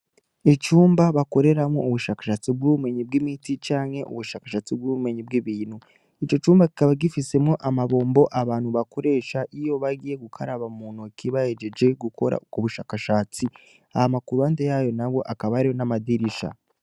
Icumba bakoreramwo ubushakashatsi bw'ubumenyi bw'imiti canke ubushakashatsi bw'ubumenyi bw'ibintu. Ico cumba kikaba gifisemwo amabombo abantu bakoresha iyo bagiye gukaraba muntoke bahejeje gukora ubwo bushakashatsi hama kuruhande yayo hakaba hari n’amadirisha.